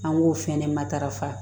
An b'o fɛnɛ matarafa